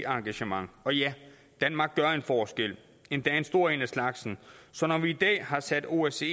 engagement og ja danmark gør en forskel endda en stor en af slagsen så når vi i dag har sat osce